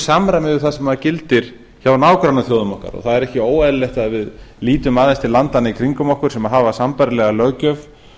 samræmi við það sem gildir hjá nágrannaþjóðum okkar og það er ekki óeðlilegt að við lítum aðeins til landanna í kringum okkur sem hafa sambærilega löggjöf